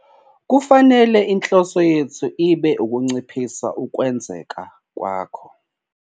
Kufanele inhloso yethu ibe ukunciphisa ukwenzeka kwakho,